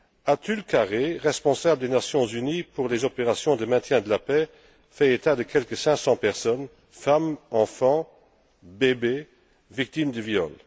Atul Khare, responsable des Nations unies pour les opérations de maintien de la paix, fait état de quelque 500 personnes, femmes, enfants, bébés, victimes de viol.